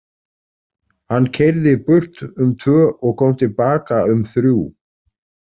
Hann keyrði burt um tvö og kom til baka um þrjú.